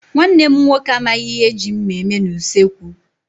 Nwanne m nwoke amaghị ihe e ji mma eme n'usekwu.